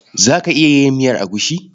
Za ka iya yin miyar agushi?